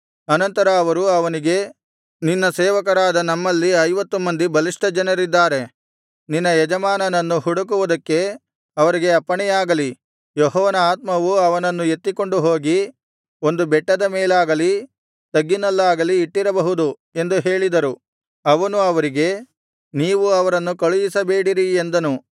ಅನಂತರ ಅವರು ಅವನಿಗೆ ನಿನ್ನ ಸೇವಕರಾದ ನಮ್ಮಲ್ಲಿ ಐವತ್ತು ಮಂದಿ ಬಲಿಷ್ಠಜನರಿದ್ದಾರೆ ನಿನ್ನ ಯಜಮಾನನ್ನು ಹುಡುಕುವುದಕ್ಕೆ ಅವರಿಗೆ ಅಪ್ಪಣೆಯಾಗಲಿ ಯೆಹೋವನ ಆತ್ಮವು ಅವನನ್ನು ಎತ್ತಿಕೊಂಡು ಹೋಗಿ ಒಂದು ಬೆಟ್ಟದ ಮೇಲಾಗಲಿ ತಗ್ಗಿನಲ್ಲಾಗಲಿ ಇಟ್ಟಿರಬಹುದು ಎಂದು ಹೇಳಿದರು ಅವನು ಅವರಿಗೆ ನೀವು ಅವರನ್ನು ಕಳುಹಿಸಬೇಡಿರಿ ಎಂದನು